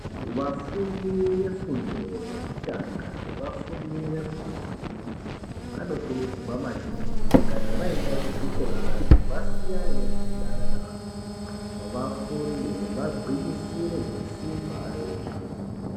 Vafundi vefundo yekutanga nevafundi vefundo yechipiri vanokurudzirwa maningi kuti kana vaende kuzvikorayo vasiyane nezvekudanana variyo vafunde vagwinyisire ngesimba reshe.